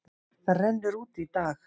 Það rennur út í dag.